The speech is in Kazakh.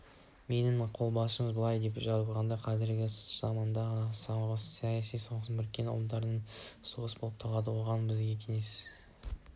менің қолжазбамда былай деп жазылған қазіргі заманғы соғыс саяси соғыс біріккен ұлттардың соғысы болып табылады оған біздің кеңес